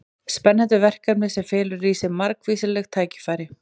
Spennandi verkefni sem felur í sér margvísleg tækifæri.